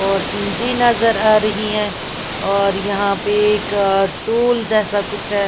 और एंट्री नजर आ रही है और यहाँ पे एक टूल जैसा कुछ है।